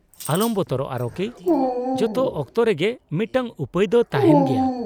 -ᱟᱞᱚᱢ ᱵᱚᱛᱚᱨᱚᱜᱼᱟ ᱨᱚᱠᱤ ᱾ ᱡᱚᱛᱚ ᱚᱠᱛᱚ ᱨᱮᱜᱮ ᱢᱤᱫᱴᱟᱝ ᱩᱯᱟᱹᱭ ᱫᱚ ᱛᱟᱦᱮᱱ ᱜᱮᱭᱟ ᱾